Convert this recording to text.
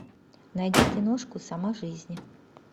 найди киношку сама жизнь